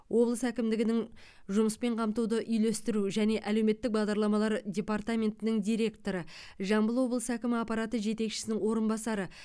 облыс әкімдігінің жұмыспен қамтуды үйлестіру және әлеуметтік бағдарламалар департаментінің директоры жамбыл облысы әкімі аппараты жетекшісінің орынбасары